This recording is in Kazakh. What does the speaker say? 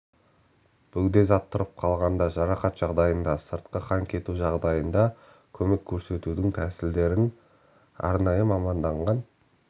бөгде зат тұрып қалғанда жарақат жағдайында сыртқы қан кету жағдайында көмек көрсетудің тәсілдерін арнайы маманданған